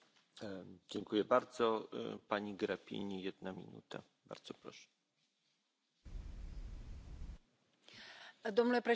Domnule președinte, doamna comisar, stimați colegi, cred că nimeni dintre noi nu poate să nege transportul influențează tot.